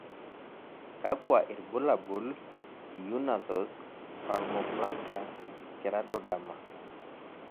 kakua irbulabol Unna Thost palmoplantar keratoderma?